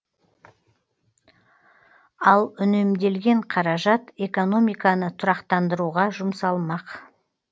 ал үнемделген қаражат экономиканы тұрақтандыруға жұмсалмақ